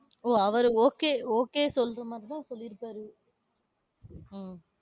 ஓஹ் அவரு okay okay சொல்ற மாதிரிதான் சொல்லிருக்காரு. உம்